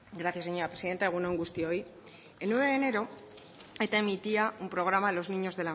gracias señora presidenta egun on guztioi el nueve de enero